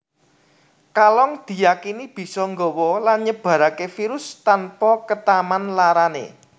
Kalong diyakini bisa nggawa lan nyebaraké virus tanpa ketaman larané